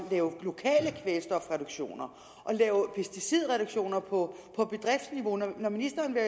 lave lokale kvælstofreduktioner og lave pesticidreduktioner på bedriftsniveau når ministeren vil